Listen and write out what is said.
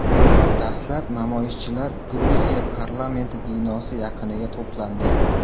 Dastlab namoyishchilar Gruziya parlamenti binosi yaqiniga to‘plandi.